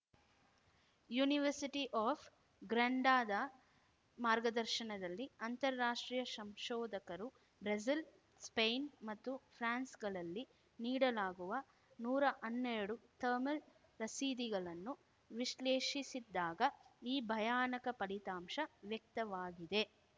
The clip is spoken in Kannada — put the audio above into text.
ಯೂನಿವರ್ಸಿಟಿ ಆಫ್‌ ಗ್ರಾಂಡಾದ ಮಾರ್ಗದರ್ಶನದಲ್ಲಿ ಅಂತಾರಾಷ್ಟ್ರೀಯ ಶಂಶೋದಕರು ಬ್ರೆಜಿಲ್‌ ಸ್ಪೈನ್‌ ಮತ್ತು ಫ್ರಾನ್ಸ್‌ಗಳಲ್ಲಿ ನೀಡಲಾಗುವ ನೂರಾ ಹನ್ನೆರಡು ಥರ್ಮಲ್‌ ರಸೀದಿಗಳನ್ನು ವಿಶ್ಲೇಷಿಸಿದ್ದಾಗ ಈ ಭಯಾನಕ ಫಲಿತಾಂಶ ವ್ಯಕ್ತವಾಗಿದೆ